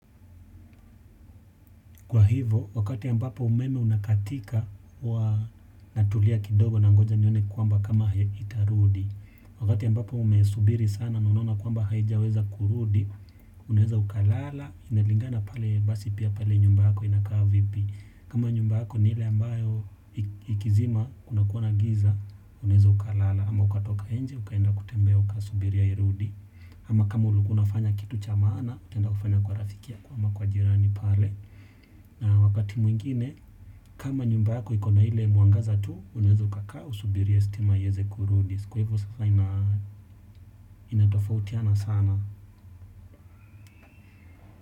Kwa hivo, wakati ambapo umeme unakatika wa natulia kidogo nangoja nione kuamba kama itarudi. Wakati ambapo umesubiri sana na unaona kuamba haijaweza kurudi, unaweza ukalala, inalingana pale basi pia pale nyumba yako inakaa vipi. Kama nyumba ako ni ile ambayo ikizima kunakuwa na giza, unaeza ukalala. Ama ukatoka nje, ukaenda kutembea uka subiria irudi. Ama kama ulukua unafanya kitu cha maana, utaenda kufanya kwa rafiki yako ama kwa jirani pale. Na wakati mwingine, kama nyumba yako ikona ile muangaza tu, unaeza ukakaa usubirie stima iyeze kurudi. Kwa hivyo sasa inatofautiana sana.